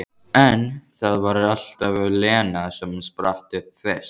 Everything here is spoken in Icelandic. En það var alltaf Lena sem spratt upp fyrst.